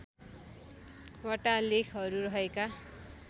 वटा लेखहरू रहेका